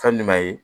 Ka minma ye